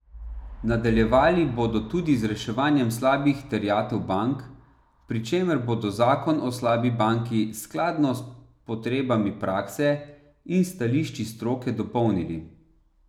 Nadaljevali bodo tudi z reševanjem slabih terjatev bank, pri čemer bodo zakon o slabi banki skladno s potrebami prakse in stališči stroke dopolnili.